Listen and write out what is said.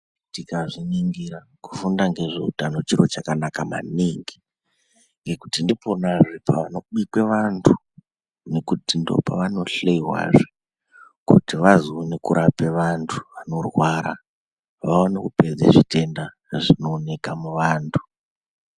Tikazviningira kufunda ngezveutano chiro chakanaka maningi ngekuti ndiponazve panobikwe vantu, Nekuti ndopavanohloyiwazve kuti vazoone kurape vantu vanorwara, vaone kupedze zvitenda zvinooneka muvantu.